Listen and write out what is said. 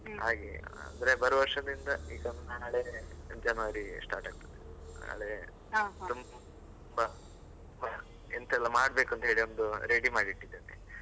ಅಂದ್ರೆ ಬರುವ ವರ್ಷದಿಂದ ಈಗ ನಾಳೆ January start ಆಗ್ತದೆ ನಾಳೆ ಎಂತ ಎಲ್ಲ ಮಾಡ್ಬೇಕು ಅಂತ ಹೇಳಿ, ಒಂದು ready ಮಾಡಿ ಇಟ್ಟಿದ್ದೇನೆ.